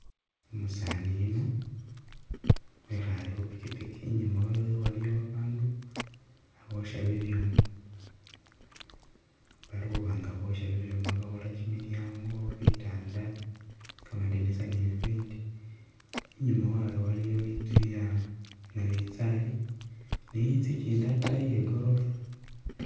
Umusaani yuno wekhaale khupikipiki i'nyuma wewe waliyo babandu khaboosha bibyuma bali khuba nga boosha bibyuma bakhola kimilyango, bitanda, kamadinisa ne bibindi, i'nyuma wawe waliyo i'nzu yanabinzali ni i'nzu i'kindi a'taayi iye gorofa